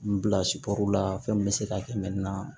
N bila la fɛn min bɛ se ka kɛ